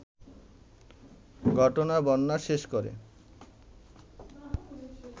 ঘটনার বর্ণনা শেষ করে